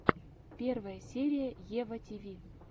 первая серия ева тиви